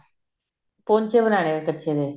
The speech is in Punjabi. ਪੌਂਚੇ ਬਣਾਉਣੇ ਕੱਛੇ ਦੇ